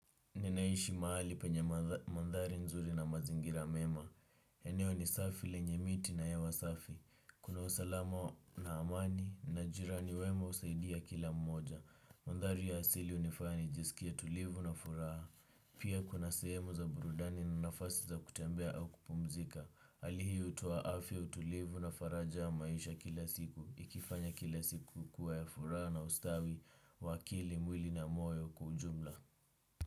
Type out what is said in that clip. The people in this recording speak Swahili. Ninaishi mahali penye mandhari nzuri na mazingira mema. Eneo ni safi lenye miti na hewa safi. Kuna usalama wa na amani na jirani wema husaidia kila mmoja. Mandhari ya asili hunifanya nijisikie tulivu na furaha. Pia kuna sehemu za burudani na nafasi za kutembea au kupumzika. hali hii hutoa afya utulivu na faraja ya maisha kila siku. Ikifanya kila siku kuwa ya furaha na ustawi, kwa akili, mwili na moyo kwa ujumla.